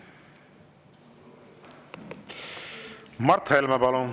Mart Helme, palun!